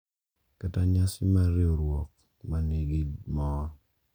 kata nyasi mar riwruok ma nigi mor,